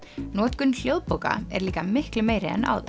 notkun hljóðbóka er líka miklu meiri en áður